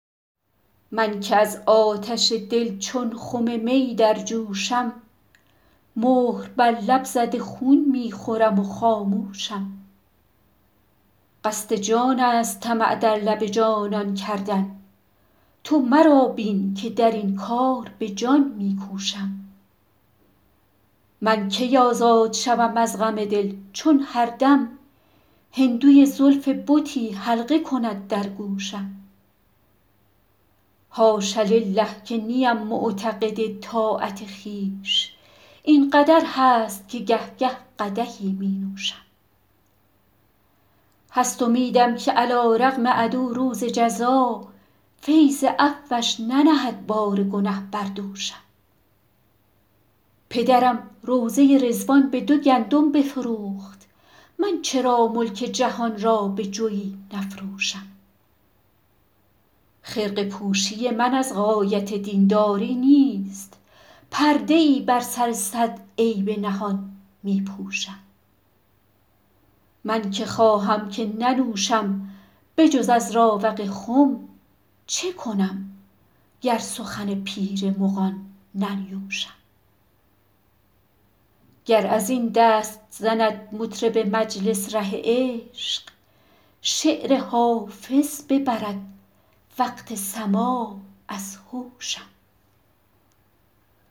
من که از آتش دل چون خم می در جوشم مهر بر لب زده خون می خورم و خاموشم قصد جان است طمع در لب جانان کردن تو مرا بین که در این کار به جان می کوشم من کی آزاد شوم از غم دل چون هر دم هندوی زلف بتی حلقه کند در گوشم حاش لله که نیم معتقد طاعت خویش این قدر هست که گه گه قدحی می نوشم هست امیدم که علیرغم عدو روز جزا فیض عفوش ننهد بار گنه بر دوشم پدرم روضه رضوان به دو گندم بفروخت من چرا ملک جهان را به جوی نفروشم خرقه پوشی من از غایت دین داری نیست پرده ای بر سر صد عیب نهان می پوشم من که خواهم که ننوشم به جز از راوق خم چه کنم گر سخن پیر مغان ننیوشم گر از این دست زند مطرب مجلس ره عشق شعر حافظ ببرد وقت سماع از هوشم